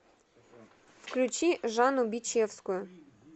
включи жанну бичевскую